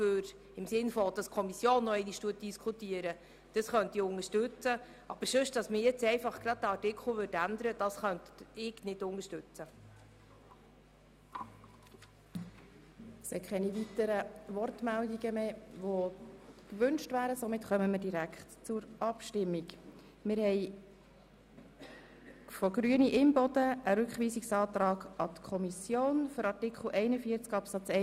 Art. 42 Abs. 1 Für Ehegatten, die in rechtlich und tatsächlich ungetrennter Ehe leben, sowie für verwitwete, gerichtlich oder tatsächlich getrennt lebende, geschiedene und ledige Steuerpflichtige, die mit Kindern oder unterstützungsbedürftigen Personen im gleichen Haushalt zusammenleben und deren Unterhalt zur Hauptsache bestreiten, beträgt die Einkommenssteuer: